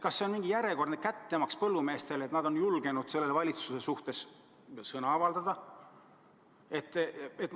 Kas see on mingi järjekordne kättemaks põllumeestele, et nad on julgenud selle valitsuse vastu sõna võtta?